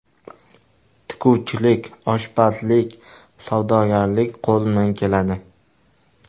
Tikuvchilik, oshpazlik, savdogarlik qo‘limdan keladi.